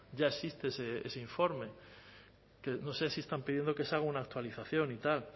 ya existe ese informe no sé si están pidiendo que se haga una actualización y tal